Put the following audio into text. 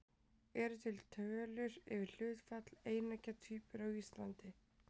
Eru til tölur yfir hlutfall eineggja tvíbura á Íslandi?